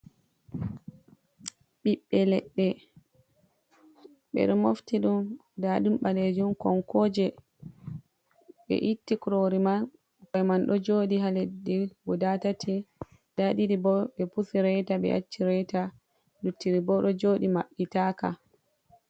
Ɓiɓɓe leɗɗe ɓe mofti ɗum nda ɗum ɓaleejum konkoje, ɓe itti kurori man ɗo jooɗii haa leɗɗi guda tati, nda ɗiɗi bo ɓe pusi reeta ɓe acci reeta, lutti ɗi ɓo ɗo jooɗii maɓɓitaaka.